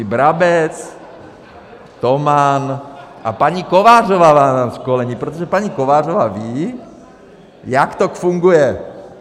I Brabec, Toman a paní Kovářová vám dá školení, protože paní Kovářová ví, jak to funguje.